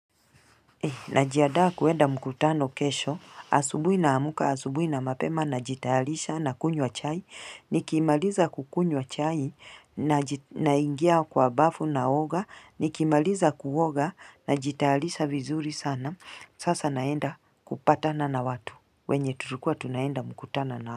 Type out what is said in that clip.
Najiadaa kuenda mkutano kesho, asubui na amuka, asubui na mapema, najitayalisha nakunywa chai, nikimaliza kukunywa chai, naingia kwa bafu naoga, nikimaliza kuoga, najitayalisha vizuri sana, sasa naenda kupatana na watu, wenye turukua tunaenda mkutano nao.